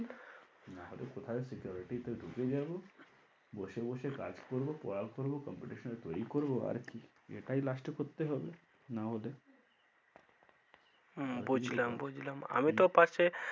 নাহলে কোথাও security তে ঢুকে যাবো, বসে বসে কাজ করবো পড়া করবো computational তৈরি করবো আর কি এটাই last এ করতে হবে না হলে হম বুঝলাম বুঝলাম আমি তো ওপাশে